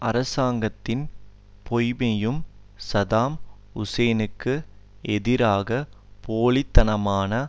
அரசாங்கத்தின் பொய்மையையும் சதாம் ஹூசைனுக்கு எதிராக போலி தனமான